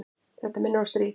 Þetta minnir á stríðið.